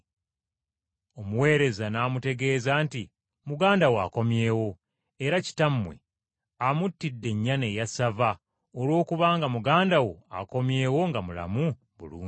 Omuweereza n’amutegeeza nti, ‘Muganda wo akomyewo, era kitammwe amuttidde ennyana eya ssava olwokubanga muganda wo akomyewo nga mulamu bulungi.’